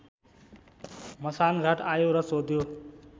मसानघाट आयो र सोध्यो